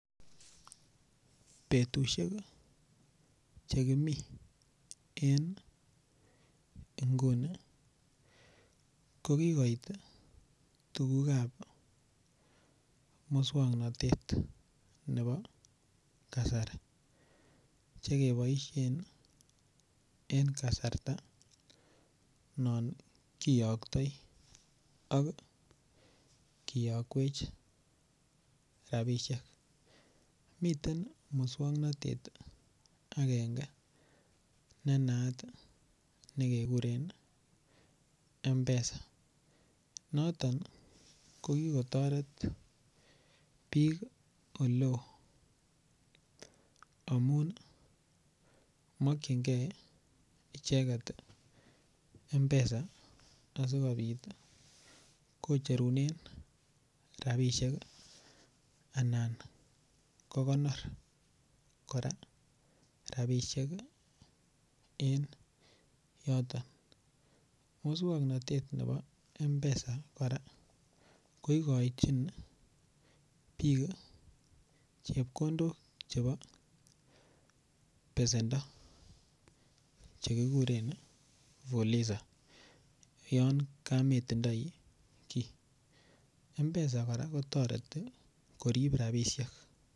Betusiek Che kimi en nguni ko kigoit tuguk ab moswoknatet nebo kasari Che keboisien en kasarta non kiyoktoi ak kiyokwech rabisiek miten moswoknatet agenge ne naat nekekuren mpesa noton ko kotoret bik Oleo amun mokyingei icheget mpesa asikobit kicherunen rabisiek anan kogonor kora rabisiek en yoton moswoknatet nebo mpesa kora ko igochin bik chepkondok chebo besendo Che kiguren Fuliza yon kametindoi kii mpesa kora kotoreti korib rabisiek